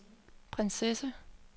prinsesse